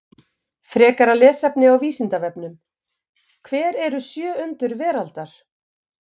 Frekara lesefni á Vísindavefnum: Hver eru sjö undur veraldar?